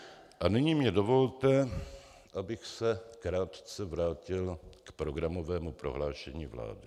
A nyní mně dovolte, abych se krátce vrátil k programovému prohlášení vlády.